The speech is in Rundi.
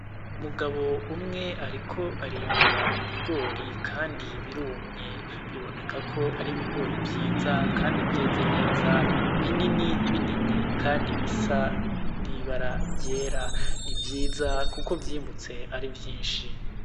Umugabo umwe ariko arimbura ibigori kandi birumye, biboneka ko ari ibigori vyiza kandi vyeze neza binini binini kandi bisa mw'ibara ryera. Ni vyiza kuko vyimbutse ari vyinshi.